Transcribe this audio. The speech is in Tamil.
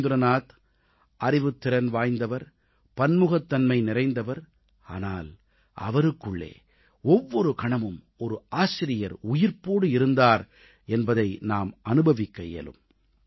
ரவீந்திரநாத் அறிவுத்திறன் வாய்ந்தவர் பன்முகத்தன்மை நிறைந்தவர் ஆனால் அவருக்குள்ளே ஒவ்வொரு கணமும் ஒரு ஆசிரியர் உயிர்ப்போடு இருந்தார் என்பதை நாம் அனுபவிக்க இயலும்